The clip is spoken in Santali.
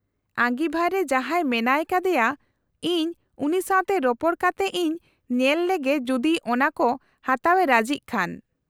-ᱟᱺᱜᱤᱵᱷᱟᱨ ᱨᱮ ᱡᱟᱦᱟᱸᱭ ᱢᱮᱱᱟᱭ ᱠᱟᱫᱮᱭᱟ ᱤᱧ ᱩᱱᱤ ᱥᱟᱶᱛᱮ ᱨᱚᱯᱚᱲ ᱠᱟᱛᱮᱜ ᱤᱧ ᱧᱮᱞ ᱞᱮᱜᱮ ᱡᱩᱫᱤ ᱚᱱᱟ ᱠᱚ ᱦᱟᱛᱟᱣ ᱮ ᱨᱟᱡᱤᱜ ᱠᱷᱟᱱ ᱾